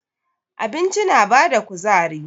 Abinci na bada kuzari.